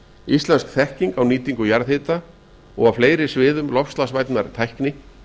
íslensk þekking á nýtingu jarðhita og fleiri sviðum loftslagsvænnar tækni